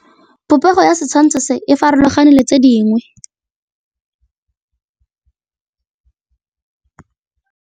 Popêgo ya setshwantshô se, e farologane le tse dingwe.